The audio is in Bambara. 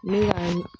Ne ka